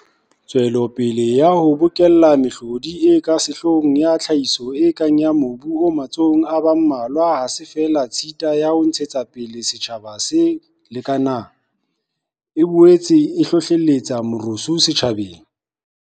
Tswelopele ya ho bokella mehlodi e ka sehloohong ya tlhahiso e kang ya mobu o matsohong a ba mmalwa ha se feela tshita ya ho ntshetsa pele setjhaba se lekanang, e boetse e hlohlelletsa merusu setjhabeng.